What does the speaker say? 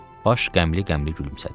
Baş qəmli-qəmli gülümsədi.